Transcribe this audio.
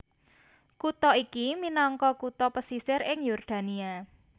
Kutha iki minangka kutha pesisir ing Yordania